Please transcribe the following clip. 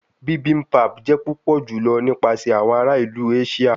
Bibimpap jẹ pupọ julọ nipasẹ awọn ara ilu Asia